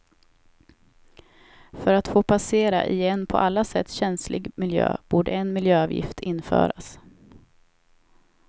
För att få passera i en på alla sätt känslig miljö borde en miljöavgift införas.